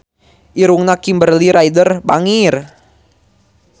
Irungna Kimberly Ryder bangir